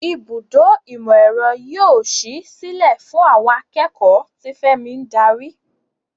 Ibùdó ìmọ̀-ẹ̀rọ yóò ṣí sílẹ̀ fún àwọn akẹ́kọ̀ọ́, tí Femi ń darí.